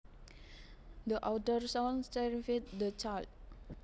The outdoor sounds terrified the child